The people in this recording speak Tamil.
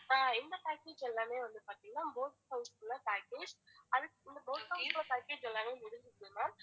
அஹ் இந்த package எல்லாமே வந்து பாத்திங்கன்னா boat house உள்ள package அது boat house package எல்லாமே முடிஞ்சது ma'am